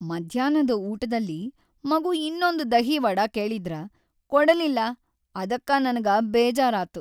ಮಧ್ಯಾನ್ಹದ ಊಟದಲ್ಲಿ ಮಗು ಇನ್ನೊಂದು ದಹಿ ವಡಾ ಕೇಳಿದ್ರ ಕೊಡಲಿಲ್ಲ ಅದಕ್ಕ ನನಗ ಬೇಜಾರಾತ್.